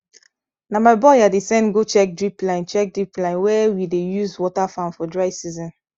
na my boy i dey send go check drip line check drip line wey we dey use water farm for dry season